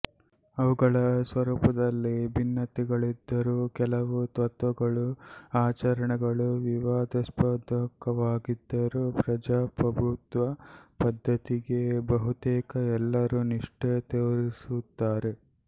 ಅವುಗಳ ಸ್ವರೂಪದಲ್ಲಿ ಭಿನ್ನತೆಗಳಿದ್ದರೂ ಕೆಲವು ತತ್ವಗಳೂ ಆಚರಣೆಗಳೂ ವಿವಾದಾಸ್ಪದವಾಗಿದ್ದರೂ ಪ್ರಜಾಪ್ರಭುತ್ವ ಪದ್ಧತಿಗೆ ಬಹುತೇಕ ಎಲ್ಲರೂ ನಿಷ್ಠೆ ತೋರಿಸುತ್ತಾರೆ